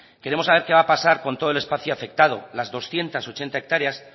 queremos saber qué va a pasar con todo el espacio afectado las doscientos ocho hectáreas